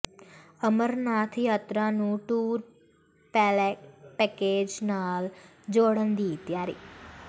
ਅਮਰਨਾਥ ਯਾਤਰਾ ਨੂੰ tour package ਨਾਲ ਜੋੜਨ ਦੀ ਤਿਆਰੀ